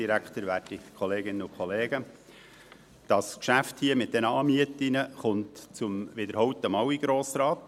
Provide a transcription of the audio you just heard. Das Geschäft mit den Anmieten kommt zum wiederholten Mal in den Grossen Rat.